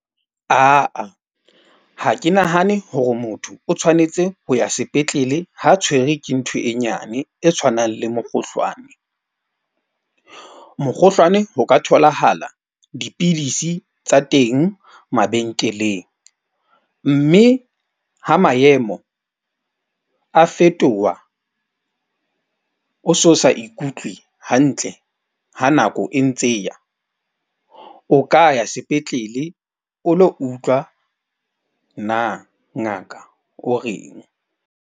Ha ke nahane hore motho o tshwanetse ho ya sepetlele, ha tshwerwe ke ntho e nyane e tshwanang le mokgohlwane. Mokgohlwane ho ka tholahala dipidisi tsa teng mabenkeleng. Mme ha maemo a fetoha, o so sa ikutlwe hantle, ha nako e ntse eya, o ka ya sepetlele, o lo utlwa na ngaka o reng.